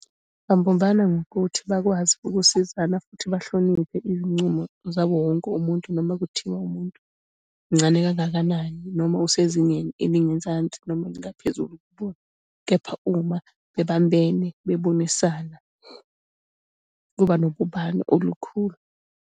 Babumbana ngokuthi bakwazi ukusizana, futhi bahloniphe izincumo zawo wonke umuntu, noma kuthiwa umuntu muncane kangakanani noma usezingeni elingezansi noma elingaphezulu kubona. Kepha uma bebambene bebonisana, kuba nobumbano olukhulu.